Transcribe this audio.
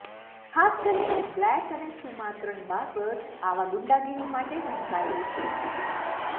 ખાસ કરીને બ્લેક અને સુમાત્રન બાર્બ્સ આવા ગુંડાગીરી માટે ઢંકાયેલું છે